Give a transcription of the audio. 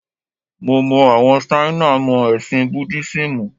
Mo mọ àwọn Ṣáínà mọ́ ẹ̀sìn Búdísímù.